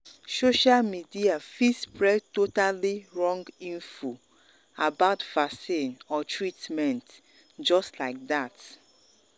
social media fit spread totally um wrong info about vaccine or treatment just like that.